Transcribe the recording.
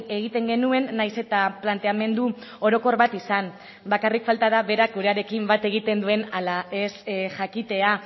egiten genuen nahiz eta planteamendu orokor bat izan bakarrik falta da berak gurearekin bat egiten duen ala ez jakitea